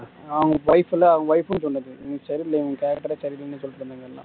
அவங்க wife ம் சொன்னது இவன் சரியில்ல இவன் character ஏ சரியில்லன்னு சொல்லிட்டிருந்தாங்க எல்லாம்